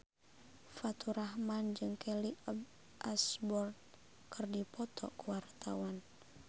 Faturrahman jeung Kelly Osbourne keur dipoto ku wartawan